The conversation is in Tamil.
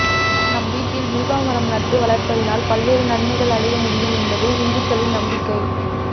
நாம் வீட்டில் வில்வமரம் நாட்டி வளர்ப்பதினால் பல்வேறு நன்மைகள் அடைய முடியும் என்பது இந்துக்களின் நம்பிக்கை